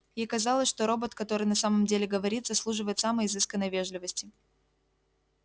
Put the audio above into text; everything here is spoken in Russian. ей казалось что робот который на самом деле говорит заслуживает самой изысканной вежливости